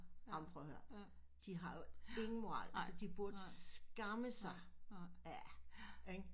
Amen prøv at hør de har jo ingen moral de burde skamme sig ja ikke